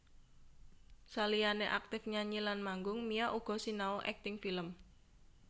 Saliyané aktif nyanyi lan manggung Mia uga sinau akting film